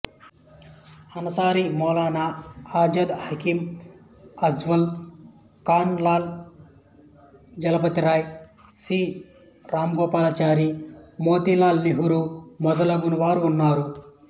Ansari Maulana Azad Hakim Ajmal Khan Lala Lajpat Rai C Rajagopalachari Motilal Nehru మొదలగు వారు ఉన్నారు